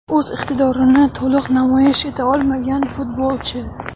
O‘z iqtidorini to‘liq namoyish eta olmagan futbolchi.